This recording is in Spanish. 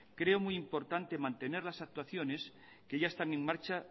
creo muy importante mantener las actuaciones que ya están en marcha